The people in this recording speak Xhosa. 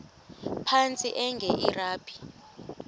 phantsi enge lrabi